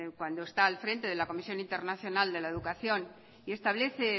cuando está al frente de la comisión internacional de la educación y establece